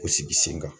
O sigi sen kan